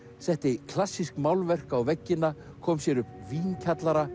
setti klassísk málverk á veggina kom sér upp